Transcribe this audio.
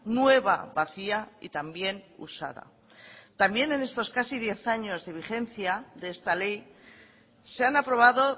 nueva vacía y también usada también en estos casi diez años de vigencia de esta ley se han aprobado